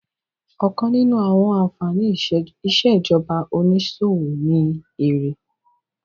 Ọ̀kan nínú àwọn ànfàní ìṣèjọba onísòwò ni èrè